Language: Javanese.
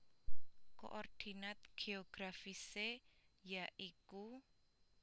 Koordinat geografisé ya iku